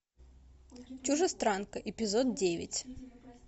чужестранка эпизод девять